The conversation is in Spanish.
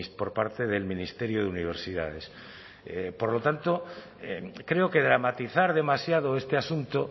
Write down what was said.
por parte del ministerio de universidades por lo tanto creo que dramatizar demasiado este asunto